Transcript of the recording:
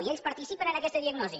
i ells participen en aquesta diagnosi